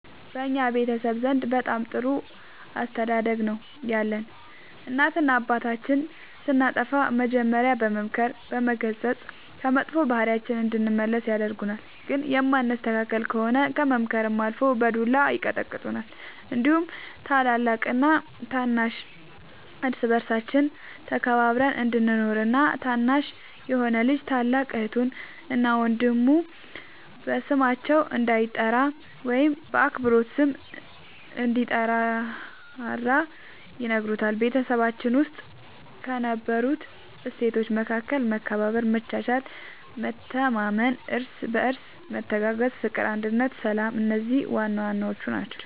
በእኛ ቤተሰብ ዘንድ በጣም ጥሩ አስተዳደግ ነው ያለን እናትና አባታችን ስናጠፋ መጀሪያ በመምከር በመገሰፅ ከመጥፎ ባህሪያችን እንድንመለስ ያደርጉናል ግን የማንስተካከል ከሆነ ከምክርም አልፎ በዱላ ይቀጡናል እንዲሁም ታላቅና ታናሽ እርስ በርሳችን ተከባብረን እንድንኖር እና ታናሽ የሆነ ልጅ ታላቅ እህቱን እና ወንድሙ በስማቸው እንዳይጠራ ወይም በአክብሮት ስም እንድንጠራራ ይነግሩናል በቤታችን ውስጥ ከነበሩት እሴቶች መካከል መከባበር መቻቻል መተማመን እርስ በርስ መተጋገዝ ፍቅር አንድነት ሰላም እነዚህ ዋናዋናዎቹ ናቸው